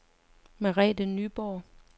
Merete Nyborg